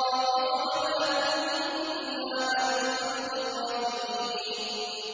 وَمَا كُنَّا عَنِ الْخَلْقِ غَافِلِينَ